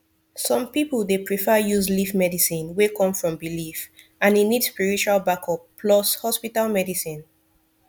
some people dey prefer use leaf medicine wey come from belief and e need spiritual backup plus hospital medicine